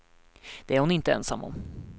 Det är hon inte ensam om.